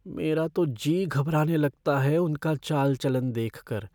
मेरा तो जी घबराने लगता है उनका चाल चलन को देखकर।